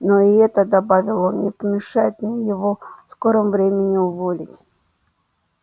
но и это добавил он не помешает мне его в скором времени уволить